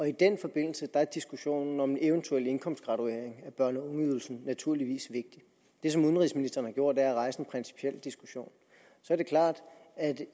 i den forbindelse er diskussionen om en eventuel indkomstgraduering af børne og ungeydelsen naturligvis vigtig det som udenrigsministeren har gjort er at rejse en principiel diskussion så er det klart at